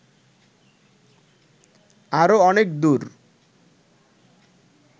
আরো অনেক দূর